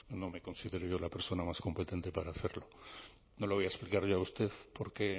no me considero yo la persona más competente para hacerlo no lo voy a explicar yo a usted por qué